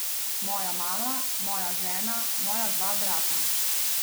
Moja mama, moja žena, moja dva brata.